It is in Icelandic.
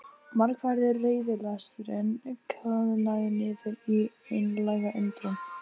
Margæfður reiðilesturinn koðnaði niður í einlæga undrun.